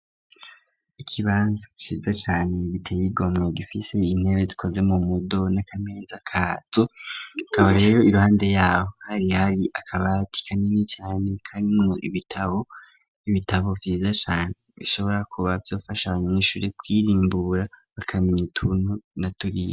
Ikibanza ciza cane giteye igomwe gifise intebe zikoze mu mudo n'akameza kazo, kaba rero iruhande yabo hari hari akabati kanini cane karimw'ibitabo, ibitabo vyiza cane bishobora kuba vyofasha abanyeshuri kwirimbura bakameny'utuntuu na turiya.